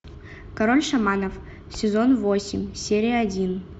король шаманов сезон восемь серия один